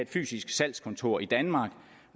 fysisk salgskontor i danmark